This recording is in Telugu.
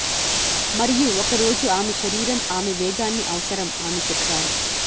మరియు ఒక రోజు ఆమె శరీరం ఆమె వేగాన్ని అవసరం ఆమె చెప్పారు